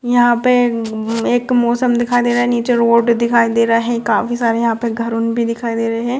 यहाँ पे एक मौसम दिखाई दे रहा हैं नीचे रोड दिखाई दे रहा हैं काफी सारे यहाँ पे घर उन भी दिखाई दे रहे हैं।